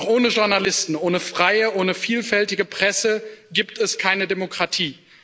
Doch ohne Journalisten, ohne freie, ohne vielfältige Presse, gibt es keine Demokratie.